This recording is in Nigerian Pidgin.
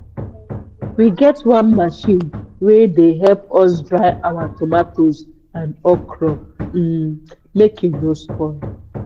we get one machine wey dey help us dry our tomatoes and okro um make e no spoil.